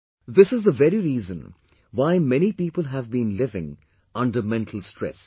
This is the very reason why many people have been living under mental stress